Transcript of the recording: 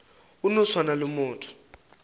go no swana le motho